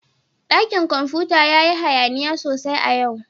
Dakin komfuta ya yi hayaniya sosai a yau